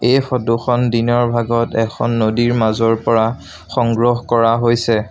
এই ফটো খন দিনৰ ভাগত এখন নদীৰ মাজৰ পৰা সংগ্ৰহ কৰা হৈছে।